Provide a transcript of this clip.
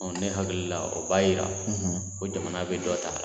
ne hakili la o b'a yira ko jamana bɛ dɔ ta.